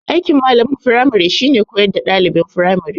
Aikin malamin firmari shine koyar da ɗaliban firamari